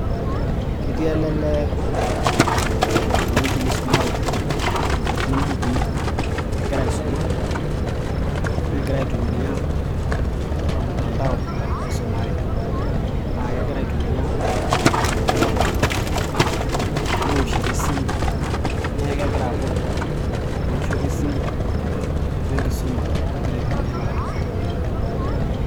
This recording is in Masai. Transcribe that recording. ketii ele lee ewueji nisumareki natii imbukui egira aisuma negira aitumia ormtandao aisumare aa kegira aitumia e laptop newoshito esimu neeku kegira apud ewoshoto esimu wenkisuma nagira aitumia laptop.